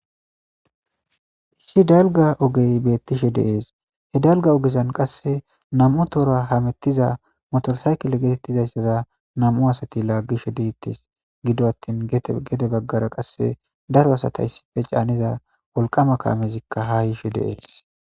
Issi dalgga ogey beettishe de'ees he dalgga ogezan qasse nam'u tora hamettiza motosaykele getettizayssaza nam'u asati laaggishe dettees giddo attin gede baggara qasse daro asatays caaniza wolqqama kaamezikka ha yiishe de'ees